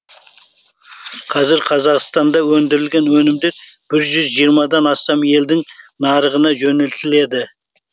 қазір қазақстанда өндірілген өнімдер бір жүз жиырмадан астам елдің нарығына жөнелтіледі